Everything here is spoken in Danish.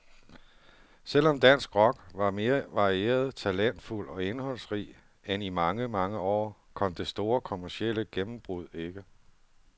Selv om dansk rock var mere varieret, talentfuld og indholdsrig end i mange, mange år, kom det store kommercielle gennembrud ikke.